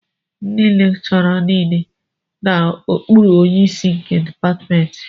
Ndị lekchọra nile nọ n'okpuru onyeisi nke dịpatmentị